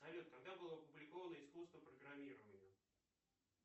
салют когда было опубликовано искусство программирования